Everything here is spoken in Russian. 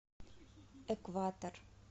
экватор